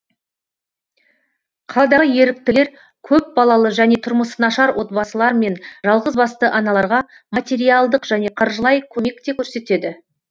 қаладағы еріктілер көпбалалы және тұрмысы нашар отбасылар мен жалғызбасты аналарға материалдық және қаржылай көмек те көрсетеді